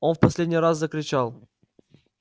он в последний раз закричал